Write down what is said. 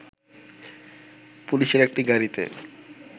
পুলিশের একটি গাড়িতে